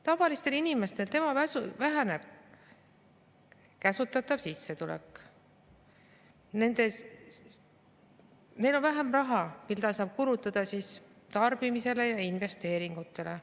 Tavaliste inimeste sissetulek väheneb, neil on vähem raha, mida saab kulutada tarbimisele ja investeeringuteks.